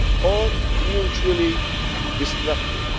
or mutually destructive.